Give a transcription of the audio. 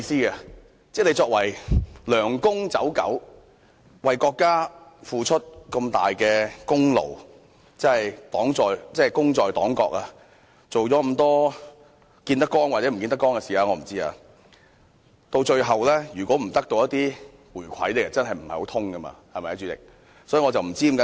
換言之，作為"梁公走狗"，為國家付出這麼大的功勞，功在黨國，見得光或不見得光的事情都做了這麼多，如果最後得不到一些回饋，真的說不過去，對嗎，代理主席？